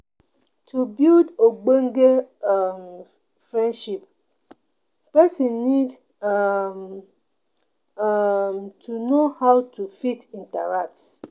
To build ogbonge um friendship, person need um um to know how to fit interact